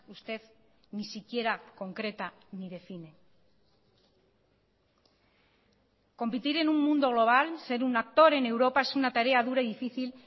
usted ni siquiera concreta ni define competir en un mundo global ser un actor en europa es una tarea dura y difícil